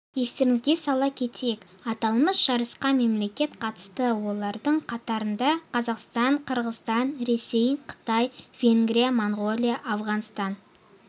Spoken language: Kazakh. естеріңізге сала кетейік аталмыш жарысқа мемлекет қатысты олардың қатарында қазақстан қырғызстан ресей қытай венгрия монғолия ауғанстан